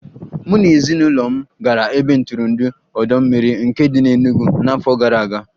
Mụ na ezinụlọ m gara ebe ntụrụndụ ọdọ mmiri Nike dị n'Enugu n'afọ gara aga